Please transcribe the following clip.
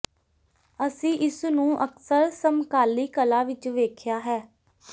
ਅਸੀਂ ਇਸ ਨੂੰ ਅਕਸਰ ਸਮਕਾਲੀ ਕਲਾ ਵਿੱਚ ਵੇਖਿਆ ਹੈ